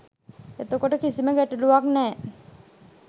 එතකොට කිසිම ගැටලුවක් නෑ.